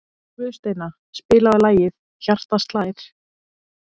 Guðsteina, spilaðu lagið „Hjartað slær“.